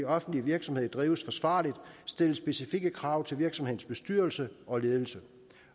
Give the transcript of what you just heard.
offentlig virksomhed drives forsvarligt stilles specifikke krav til virksomhedens bestyrelse og ledelse